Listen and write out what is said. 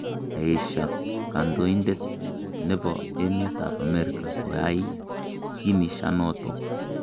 Kaesha kandoindet nebo emet ab Amerika koay kiniishanotok